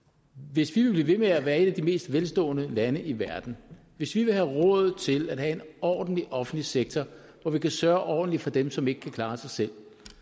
hvis vi vil blive ved med at være et af de mest velstående lande i verden hvis vi vil have råd til at have en ordentlig offentlig sektor hvor vi kan sørge ordentligt for dem som ikke kan klare sig selv